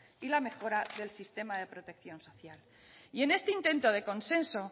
y la mejora del sistema de protección social y en este intento de consenso